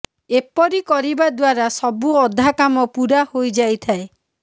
ଏପରି କରିବା ଦ୍ୱାରା ସବୁ ଅଧା କାମ ପୂରା ହୋଇଯାଇଥାଏ